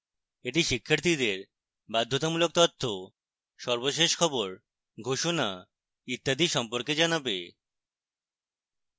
এটি শিক্ষার্থীদের বাধ্যতামূলক তথ্য সর্বশেষ খবর ঘোষণা ইত্যাদি সম্পর্কে জানাবে